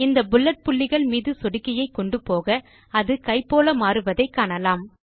இந்த புல்லெட் புள்ளிகள் மீது சொடுக்கியை கொண்டு போக அது கை போல மாறுவதை காணலாம்